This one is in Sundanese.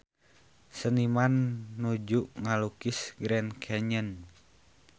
Seniman nuju ngalukis Grand Canyon